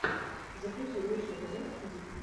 загрузи лучший эпизод дип